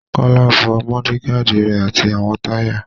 Kọ́lá fọ mọ́ọ́dígaàdi rẹ̀ àti àwọn táyà.